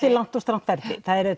er langt og strangt ferli er